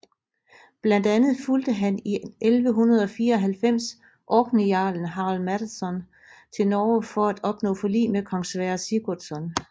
Blandt andet fulgde han i 1194 orkneyjarlen Harald Maddadsson til Norge for at opnå forlig med kong Sverre Sigurdsson